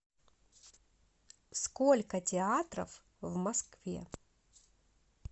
сколько театров в москве